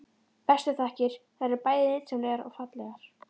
Bestu þakkir- þær eru bæði nytsamlegar og fallegar.